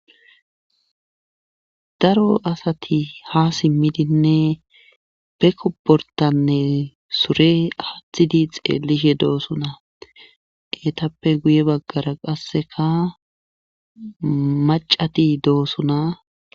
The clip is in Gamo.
Daro asat ha simidine be kobortane sure athid ha xelishe dosona, etappe guye bagara qasekaacati dosona.